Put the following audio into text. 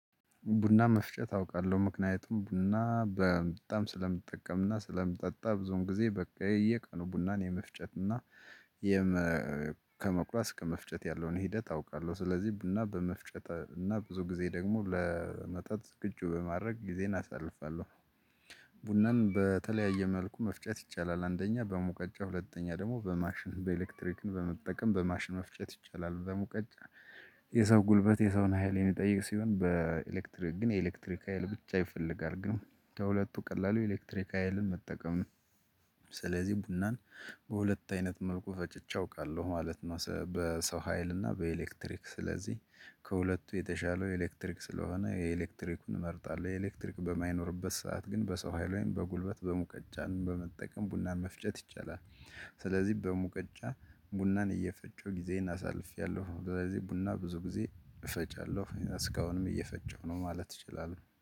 ቡና መፍጨት አውቃለሁ ምክንያቱም ቡና በጣም ስለምጠቀምና ስለምጠጣ ብዙን ጊዜ በቃ የየቀኑ ቡናን የመፍጨትና ከመቁረስ ከመፍጨት ያለውን ሂደት አውቃለሁ ስለዚህ ቡና በመፍጨት እና ብዙ ጊዜ ደግሞ ለመጠጥ ቅ ዝግጁ በማድረግ ጊዜን አሳልፋለሁ። ቡናም በተለያየ መልኩ መፍጨት ይቻላል አንደኛ በሙቀጫ ሁለተኛ ደግሞ በማሽን በኤሌክትሪክን በመጠቀም በማሽን መፍጨት ይቻላል ደግሞ ቀጭ የሰው ጉልበት የሰውን ሀይሌን ይጠይቅ ሲሆን በኤሌክትሪክ ግን የኤሌክትሪክ ሀይል ብቻ ይፈልጋል። ግን ከሁለቱ ቀላሉ ኤሌክትሪክ ሀይልን መጠቀም ነው። ስለዚህ ቡናን በሁለት አይነት መልኩ ፈጭቼ አውቃለሁ ማለት ነው። በሰው ሀይል እና በኤሌክትሪክ ስለዚህ ከሁለቱ የተሻለው ኤሌክትሪክ ስለሆነ የኤሌክትሪኩን እመርጣለሁ። የኤሌክትሪክ በማይኖርበት ሰዓት ግን በሰው ሀይል ወይም በጉልበት በሙቀጫን በመጠቀም ቡናን መፍጨት ይቻላል። ስለዚህ በሙቀጫ ቡናን እየፈጨው ጊዜን አሳልፌያለሁ። ስለዚህ ቡና ብዙ ጊዜ እፈጫለሁ እስካሁንም እየፈጨው ነው ማለት እችላለሁ